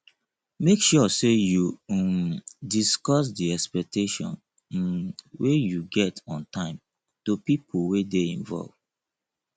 make sure say you um discuss di expectation um wey you get on time to pipo wey de involve